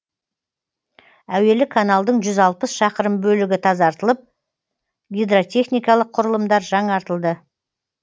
әуелі каналдың жүз алпыс шақырым бөлігі тазартылып гидротехникалық құрылымдар жаңартылды